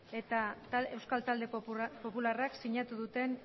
eta euskal talde popularrak sinatu duten